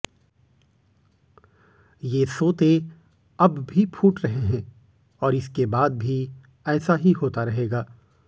ये सोते अब भी फूट रहे हैं और इसके बाद भी ऐसा ही होता रहेगा